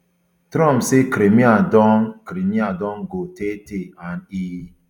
trump say crimea don crimea don go taytay and e